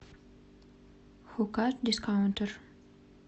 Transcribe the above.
хука дискаунтер